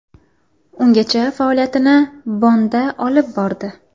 Ungacha faoliyatini Bonnda olib bordi.